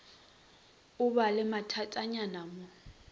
o ba le mathatanyana mo